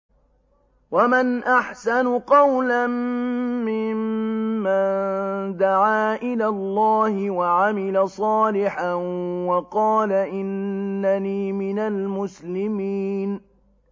وَمَنْ أَحْسَنُ قَوْلًا مِّمَّن دَعَا إِلَى اللَّهِ وَعَمِلَ صَالِحًا وَقَالَ إِنَّنِي مِنَ الْمُسْلِمِينَ